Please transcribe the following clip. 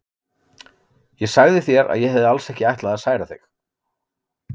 Ég sagði þér að ég hefði alls ekki ætlað að særa þig.